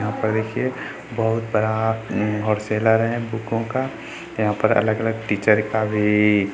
यहाँ पर देखिए बहुत बड़ा हॉलसेलर हैं बुको का | यहाँ पर अलग-अलग टीचर का भी --